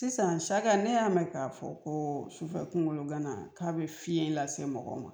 Sisan saka ne y'a mɛn k'a fɔ ko sufɛ kungolo gana k'a be fiye lase mɔgɔ ma